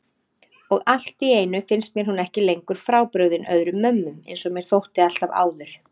Og alltíeinu finnst mér hún ekki lengur frábrugðin öðrum mömmum einsog mér þótti alltaf áður.